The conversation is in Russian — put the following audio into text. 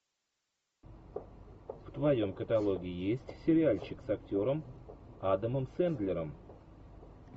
в твоем каталоге есть сериальчик с актером адамом сендлером